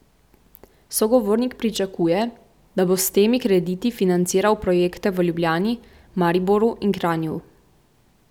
Sogovornik pričakuje, da bo s temi krediti financiral projekte v Ljubljani, Mariboru in Kranju.